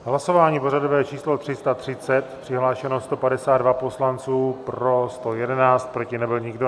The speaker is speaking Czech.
Hlasování pořadové číslo 330, přihlášeno 152 poslanců, pro 111, proti nebyl nikdo.